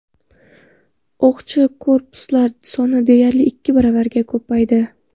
O‘qchi korpuslar soni deyarli ikki baravarga ko‘paydi.